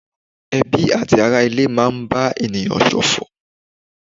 Ẹbí àti ará ilé máa ń bá ènìyàn ṣòfò.